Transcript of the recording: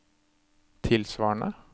tilsvarende